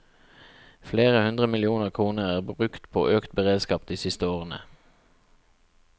Flere hundre millioner kroner er brukt på økt beredskap de siste årene.